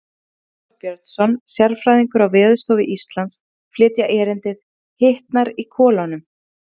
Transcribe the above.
Þá mun Halldór Björnsson, sérfræðingur á Veðurstofu Íslands, flytja erindið Hitnar í kolunum.